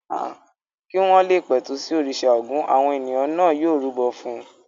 Kí wọ́n le pẹ̀tù sí òrìṣà Ògún àwọn ènìyàn náà yóò rúbọ fún un.